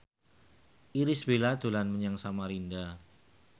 Irish Bella dolan menyang Samarinda